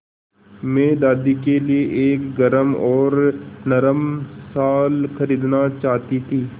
मैं दादी के लिए एक गरम और नरम शाल खरीदना चाहती थी